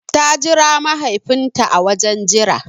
Ta jira mahaifin ta a wajen jira